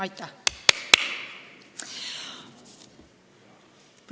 Aitäh!